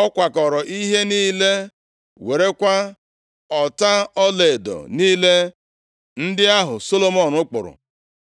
Ọ kwakọọrọ ihe niile, werekwa ọta ọlaedo niile ndị ahụ Solomọn kpụrụ.